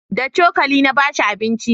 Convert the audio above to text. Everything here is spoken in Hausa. da cokali na bashi abinci